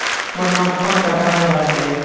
মই নখ খন কাটা নাই ভালকে